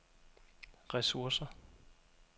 ressourcer